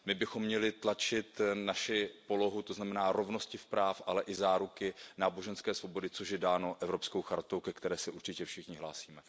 My bychom měli tlačit naši polohu, to znamená rovnost práv, ale i záruky náboženské svobody, což je dáno Evropskou chartou, ke které se určitě všichni hlásíme.